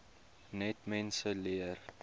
net mense leer